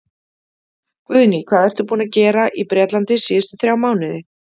Guðný: Hvað ertu búinn að vera að gera í Bretlandi síðustu þrjá mánuði?